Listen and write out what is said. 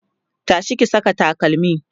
tashi ki Saka takalmi!